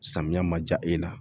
Samiya ma ja e la